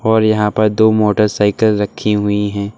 और यहां पर दो मोटरसाइकल रखी हुई है।